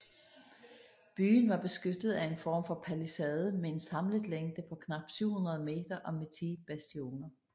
Byen var beskyttet af en form for palisade med en samlet længde på knap 700 meter og med ti bastioner